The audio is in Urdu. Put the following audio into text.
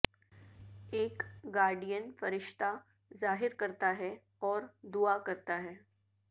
ایک گارڈین فرشتہ ظاہر کرتا ہے اور دعا کرتا ہے